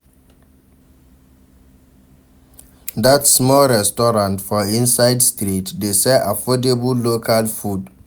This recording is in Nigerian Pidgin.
Dat small restaurant for inside street dey sell affordable local food.